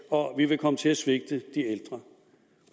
og at vi vil komme til at svigte